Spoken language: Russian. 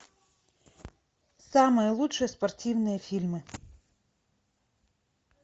самые лучшие спортивные фильмы